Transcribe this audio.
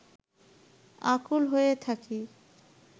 আকুল হয়ে থাকি